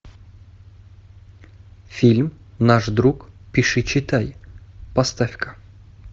фильм наш друг пиши читай поставь ка